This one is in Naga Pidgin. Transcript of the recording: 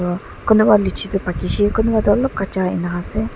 Aro kunuba litchi toh paki she kunuba toh alop kacha enika ase.